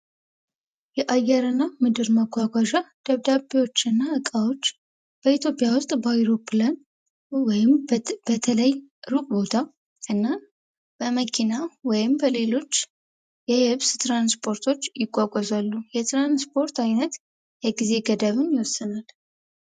የአየርና የምድር መጓጓዣ ደብዳቤዎች እና እቃዎች በኢትዮጵያ ውስጥ በአውሮፕላን ወይም በተለያየ ቦታ በመኪና ወይም በሌሎች ትራንስፖርት ይጓጓዛሉ የትራንስፖርት አይነት የጊዜ ገደብን ይወስናል።